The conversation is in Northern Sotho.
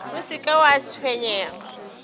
o se ke wa tshwenyega